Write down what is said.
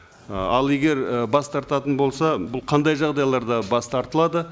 ы ал егер і бас тартатын болса бұл қандай жағдайларда бас тартылады